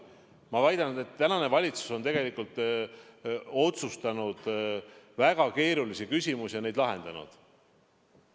Ma väidan, et tänane valitsus on otsustanud väga keerulisi küsimusi ja neid lahendanud.